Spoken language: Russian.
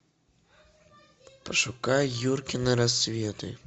пошукай юркины рассветы